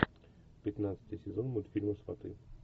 пятнадцатый сезон мультфильма сваты